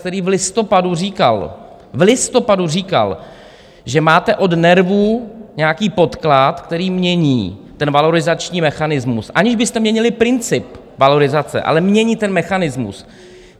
, který v listopadu říkal - v listopadu říkal - že máte od NERVu nějaký podklad, který mění ten valorizační mechanismus, aniž byste měnili princip valorizace, ale mění ten mechanismus.